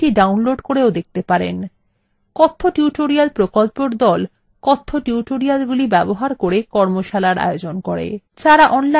কথ্য tutorial প্রকল্পর the কথ্য টিউটোরিয়ালগুলি ব্যবহার করে কর্মশালার আয়োজন করে যারা online পরীক্ষা pass করে তাদের certificates দেয়